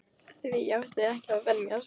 Því átti ég ekki að venjast.